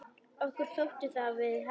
Okkur þótti það við hæfi.